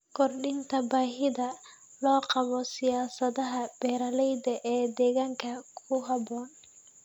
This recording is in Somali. Kordhinta baahida loo qabo siyaasadaha beeralayda ee deegaanka ku habboon.